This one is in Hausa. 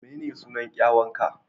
Menene sunan kyanwa ka?